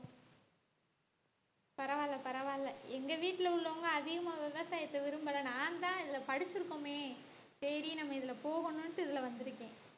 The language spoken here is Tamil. பரவாயில்லை பரவாயில்லை எங்க வீட்டுல உள்ளவங்க அதிகமா விவசாயத்தை விரும்பலை நான்தான் இதுல படிச்சிருக்கோமே சரி நம்ம இதுல போகணும்ன்னுட்டு இதுல வந்திருக்கேன்